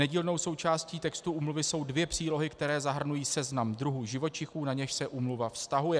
Nedílnou součástí textu úmluvy jsou dvě přílohy, které zahrnují seznam druhů živočichů, na něž se úmluva vztahuje.